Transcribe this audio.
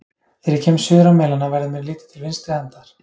Þegar ég kem suður á Melana, verður mér litið til vinstri handar.